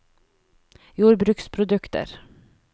jordbruksprodukter